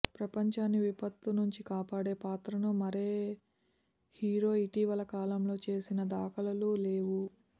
ప్రఫంచాన్ని విపత్తు నుంచికాపాడే పాత్రను మరే హీరో ఇటీవల కాలంలో చేసిన దాఖలాలు లేవు